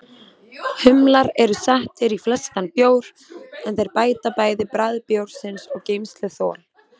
Humlar eru settir í flestan bjór, en þeir bæta bæði bragð bjórsins og geymsluþol.